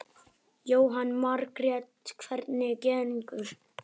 Jóhanna Margrét: Hvernig gengur?